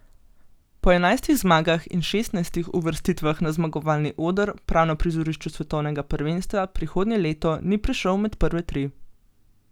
Po enajstih zmagah in šestnajstih uvrstitvah na zmagovalni oder prav na prizorišču svetovnega prvenstva prihodnje leto ni prišel med prve tri.